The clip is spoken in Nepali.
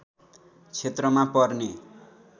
क्षेत्रमा पर्ने